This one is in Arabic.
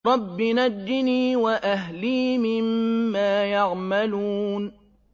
رَبِّ نَجِّنِي وَأَهْلِي مِمَّا يَعْمَلُونَ